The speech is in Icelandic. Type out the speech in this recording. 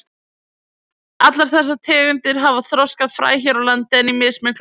Allar þessar tegundir hafa þroskað fræ hér á landi en í mismiklu magni.